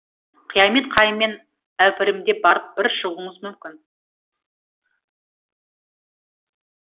қиямет қайыммен әупірімдеп барып бір шығуыңыз мүмкін